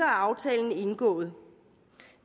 aftalen indgået